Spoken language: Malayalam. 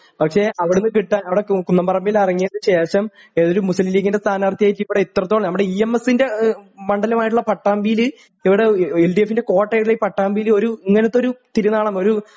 പക്ഷേ അവിടുന്ന് കിട്ടാ അവിടെ കുന്നുംപറമ്പിൽ ഇറങ്ങിയതിനു ശേഷം ഏതായാലും മുസ്ലിം ലീഗിൻ്റെ സ്ഥാനാർഥിയായിട്ട് ഇവിടെ ഇത്രത്തോളം നമ്മുടെ ഇഎംഎസിൻ്റെ ഏഹ് മണ്ഡലമായിട്ടുള്ള പട്ടാമ്പിയില് ഇവിടെ എൽഡിഎഫിൻ്റെ കോട്ടയായിട്ടുള്ള ഈ പട്ടാമ്പിയില് ഒരു ഇങ്ങനത്തെ ഒരു തിരുനാളം